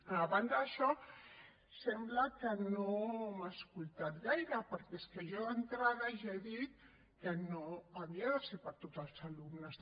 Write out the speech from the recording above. a banda d’això sembla que no m’ha escoltat gaire perquè és que jo d’entrada ja he dit que no havia de ser per a tots els alumnes